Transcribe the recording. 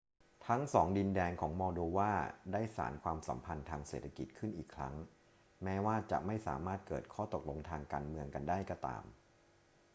ทั้งสองดินแดนของมอลโดวาได้สานความสัมพันธ์ทางเศรษฐกิจขึ้นอีกครั้ง แม้ว่าจะไม่สามารถเกิดข้อตกลงทางการเมืองกันได้ก็ตาม